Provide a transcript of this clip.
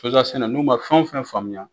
sɛnɛ n'u man fɛn fɛn faamuya